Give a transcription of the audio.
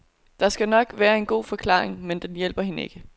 Der skal nok være en god forklaring, men det hjælper hende ikke.